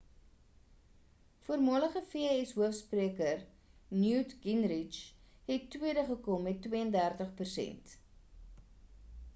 voormalige vs hoofspreker newt gingrich het tweede gekom met 32 persent